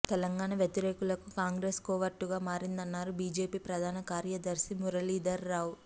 తెలంగాణ వ్యతిరేకులకు కాంగ్రెస్ కోవర్టుగా మారిందన్నారు బీజేపీ జాతీయ ప్రధాన కార్యదర్శి మురళీధర్ రావు